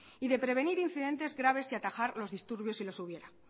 y de prevenir incidentes graves y atajar los disturbios si los hubiera